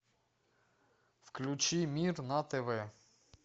включи мир на тв